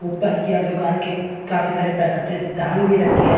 उपर किया दुकान की काफी सारे पॅकेट टांग भी रखे है।